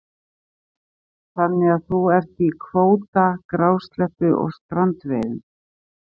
Kristján: Þannig að þú ert í kvóta, grásleppu og strandveiðum?